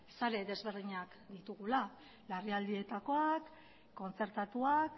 sare desberdinak ditugula larrialdietakoak kontzertatuak